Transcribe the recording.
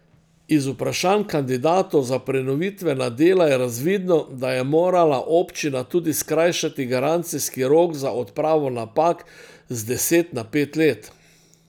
Iz vprašanj kandidatov za prenovitvena dela je razvidno, da je morala občina tudi skrajšati garancijski rok za odpravo napak z deset na pet let.